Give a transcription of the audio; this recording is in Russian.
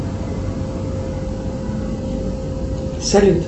салют